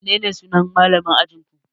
Menene sunan malamin ajinku?